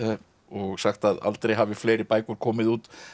og sagt að aldrei hafi fleiri bækur komið út